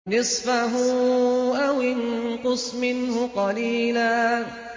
نِّصْفَهُ أَوِ انقُصْ مِنْهُ قَلِيلًا